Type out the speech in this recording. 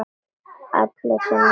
Allir sem einn.